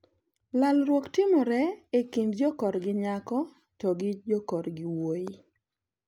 Lalruok timore e kind jokorgi nyako to gi jokor gi wuoyi.